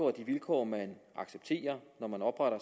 af de vilkår man accepterer når man opretter